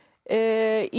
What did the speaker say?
í